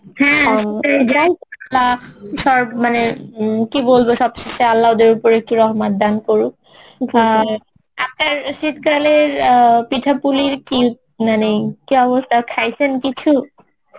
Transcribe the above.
হ্যাঁ মানে কি বলবো সবশেষে আল্লা ওদের উপর একটু রহমত দান করুন আহ আপনার শীতকালের পিঠা পুলির কি মানে কি অবস্থা খাইসেন কিছু?